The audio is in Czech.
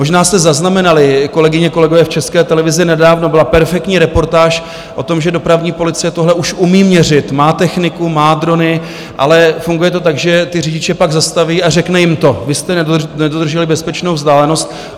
Možná jste zaznamenali, kolegyně, kolegové, v České televizi nedávno byla perfektní reportáž o tom, že dopravní policie tohle už umí měřit, má techniku, má drony, ale funguje to tak, že ty řidiče pak zastaví a řekne jim to: vy jste nedodrželi bezpečnou vzdálenost.